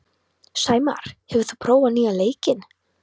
Sæmar, hefur þú prófað nýja leikinn?